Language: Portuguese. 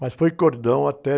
Mas foi cordão até